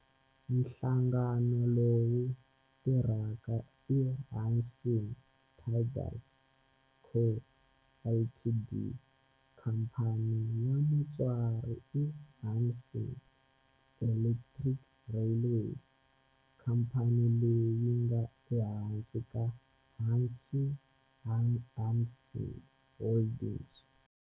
Nhlangano lowu tirhaka i Hanshin Tigers Co., Ltd. Khamphani ya mutswari i Hanshin Electric Railway, khamphani leyi nga ehansi ka Hankyu Hanshin Holdings.